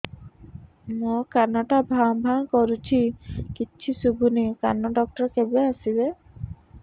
ମୋ କାନ ଟା ଭାଁ ଭାଁ କରୁଛି କିଛି ଶୁଭୁନି କାନ ଡକ୍ଟର କେବେ ଆସିବେ